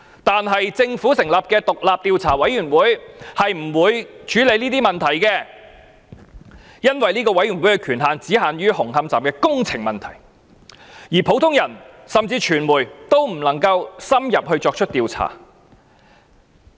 但是，政府成立的獨立調查委員會並不會處理這些問題，因為這個委員會的權限只限於紅磡站的工程問題，而普通人甚至傳媒也不能深入作出調查。